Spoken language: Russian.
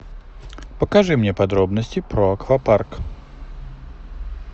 покажи мне подробности про аквапарк